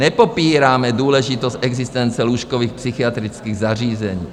Nepopíráme důležitost existence lůžkových psychiatrických zařízení.